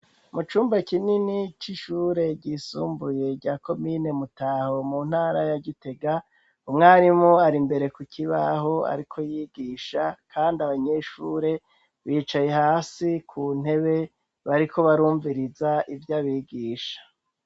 Mu cumba kinini c'ishure ryisumbuye rya komine Mutaho mu ntara ya Gitega, umwarimu ar'imbere ku kibaho ariko yigisha, kandi abanyeshure bicaye hasi ku ntebe bariko barumviriza ivyo abigisha.